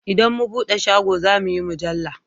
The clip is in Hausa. Idan mu buɗe shago zamuyi mujalla